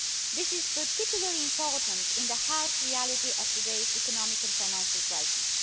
This is particularly important in the harsh reality of today's economic and financial crisis.